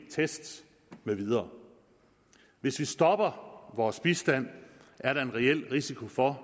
tests med videre hvis vi stopper vores bistand er der en reel risiko for